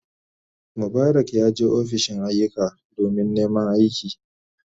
Mubarak yaje ofishin ayyuka domin neman aiki.